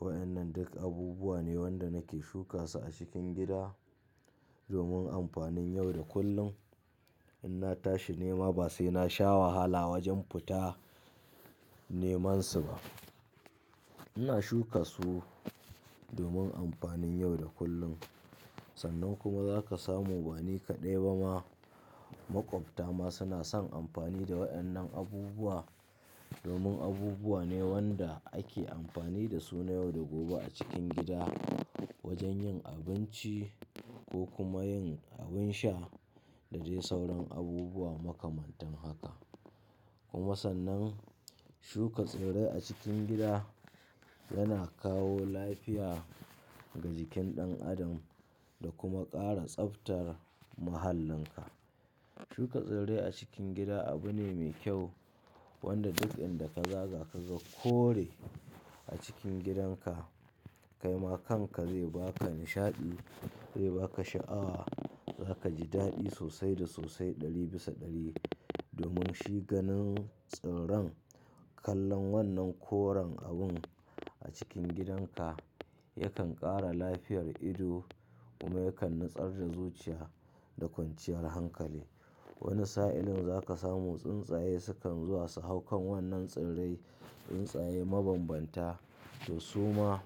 Wadannan duk abubuwa ne wanda nake shuka su a cikin gida domin amfanin yau da kullum. In na tashi nema ba sai na sha wahala wajen futa neman su ba. Ina shuka su domin amfanin yau da kullum. Sannan kuma za ka samu bani kaɗai ba ma, maƙwabta ma suna son amfani da wadannan abubuwa domin abubuwa ne wanda ake amfani da su na yau da gobe a cikin gida wajen yin abinci ko kuma yin abin sha da dai sauran abubuwa makamantan haka. Kuma sannan shuka tsirrai a cikin gida yana kawo lafiya ga jikin ɗan adam da kuma ƙara tsaftar mahallinka. Shuka tsirrai a cikin gida abu ne mai kyau wanda duk inda ka za za ka ga kore a cikin gidanka kaima kanka zai baka nishaɗi, zai baka sha'awa, za ka ji daɗi sosai da sosai ɗari bisa ɗari domin shi ganin tsirran kalon wannan koren abun a cikin gidanka yakan ƙara lafiyar ido kuma yakan natsar da zuciya da kwanciyar hankali. Wani sa'ilin za ka samu tsuntsaye sukan zuwa su hau kan wadan nan tsirrai, tsuntsaye mabambanta to su ma